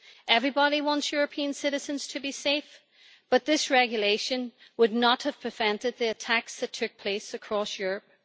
Everybody wants European citizens to be safe, but this regulation would not have prevented the attacks that took place across Europe.